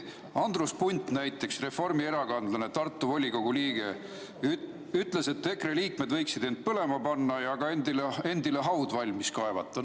Andrus Punt, reformierakondlane, Tartu volikogu liige, ütles, et EKRE liikmed võiksid end põlema panna ja ka endale haua valmis kaevata.